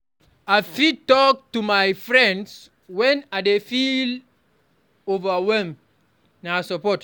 I fit talk to my friends when I dey feel overwhelmed; na support.